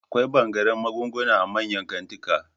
Akwai ɓangaren magunguna a manyan kantika